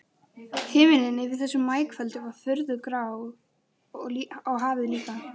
Himinninn yfir þessu maíkvöldi var furðu grár og hafið líka.